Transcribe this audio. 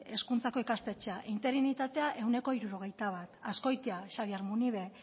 hezkuntzako ikastetxea interinitatea ehuneko hirurogeita bat azkoitia xabier munibe